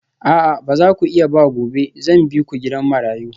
A'a ba za ku iya ba gobe zan bi ku gidan marayu